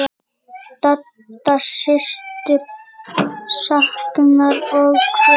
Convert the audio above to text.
Dadda systir saknar og kveður.